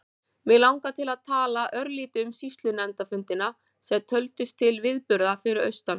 Mig langar til að tala örlítið um sýslunefndarfundina sem töldust til viðburða fyrir austan.